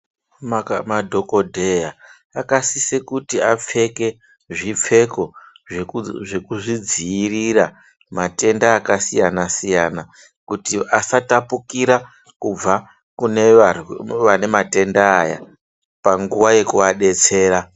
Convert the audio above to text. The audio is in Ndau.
Madhokodheya akasise kuti apfeke zvipfeko zvekuzvidziirira matenda akasiyanasiyana kuti asatapukira kubva kune vane matenda aya panguva yekuadetsera.